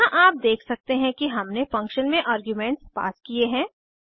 यहाँ आप देख सकते हैं कि हमने फंक्शन में आर्ग्यूमेंट्स पास किये हैं